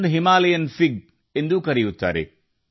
ಇದನ್ನು Himalayan fig ಎಂದೂ ಕರೆಯುತ್ತಾರೆ